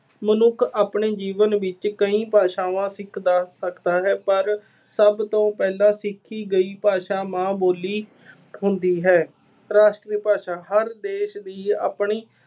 ਮਨੁੱਖ ਆਪਣੇ ਜੀਵਨ ਵਿੱਚ ਕਈ ਭਾਸ਼ਾਵਾਂ ਸਿੱਖਦਾ ਸਕਦਾ ਹੈ, ਪਰ ਸਭ ਤੋਂ ਪਹਿਲਾਂ ਸਿੱਖੀ ਗਈ ਭਾਸ਼ਾ ਮਾਂ ਬੋਲੀ ਹੁੰਦੀ ਹੈ। ਰਾਸ਼ਟਰੀ ਭਾਸ਼ਾ, ਹਰ ਦੇਸ਼ ਦੀ ਆਪਣੀ